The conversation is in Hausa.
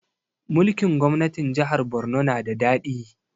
Mulkin gwamnatin jahar Borno na da daɗi